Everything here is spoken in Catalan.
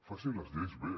facin les lleis bé